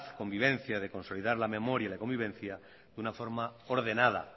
convivencia de consolidar la memoria y la convivencia de una forma ordenada